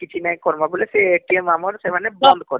କିଛି ନାଇଁ କରମା ବୋଲେ ସେ ଆମର ସେମାନେ ବନ୍ଦ କରିଦେବେ